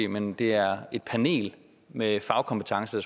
men det er et panel med fagkompetence